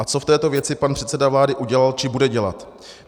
A co v této věci pan předseda vlády udělal či bude dělat?